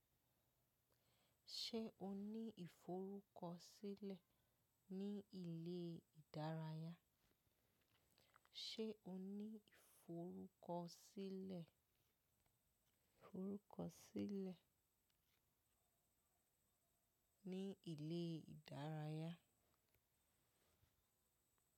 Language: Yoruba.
Ṣé o ní ìforúkọsílẹ̀ ni ilé ìdárayá, Ṣé o ní ìforúkọsílẹ, ìforúkọsílẹ̀ ní ilé ìdárayá?